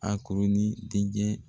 A koronin denkɛ